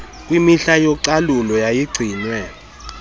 kwimihla yocalulo yayigcinwe